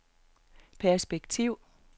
perspektiv